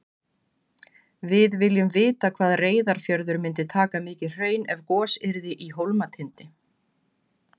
Við viljum vita hvað Reyðarfjörður myndi taka mikið hraun ef gos yrði í Hólmatindi.